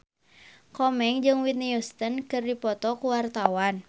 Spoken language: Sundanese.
Komeng jeung Whitney Houston keur dipoto ku wartawan